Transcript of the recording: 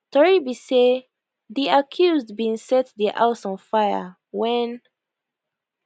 tori be say di accused bin set dia house on fire wen